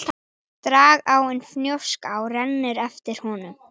Dragáin Fnjóská rennur eftir honum.